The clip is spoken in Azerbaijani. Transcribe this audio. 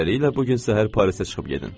Beləliklə, bu gün səhər Parisə çıxıb gedin.